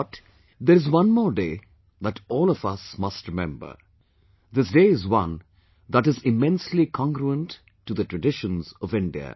But, there is one more day that all of us must remember; this day is one that is immensely congruent to the traditions of India